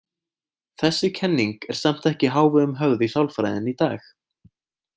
Þessi kenning er samt ekki í hávegum höfð í sálfræðinni í dag.